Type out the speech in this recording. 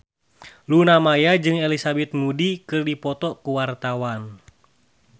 Luna Maya jeung Elizabeth Moody keur dipoto ku wartawan